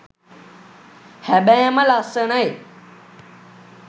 හැබෑම ලස්සනයි